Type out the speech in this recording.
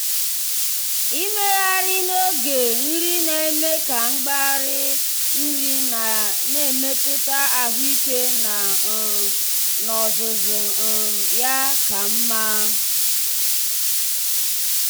ịmegharị uche n'oge nri na-eme ka mgbari nri ya na mmetụta ahụike ya um n'ozuzu um ya ka mma.